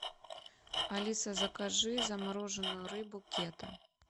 алиса закажи замороженную рыбу кета